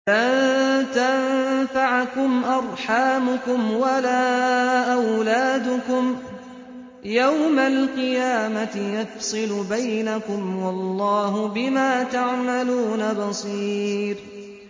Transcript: لَن تَنفَعَكُمْ أَرْحَامُكُمْ وَلَا أَوْلَادُكُمْ ۚ يَوْمَ الْقِيَامَةِ يَفْصِلُ بَيْنَكُمْ ۚ وَاللَّهُ بِمَا تَعْمَلُونَ بَصِيرٌ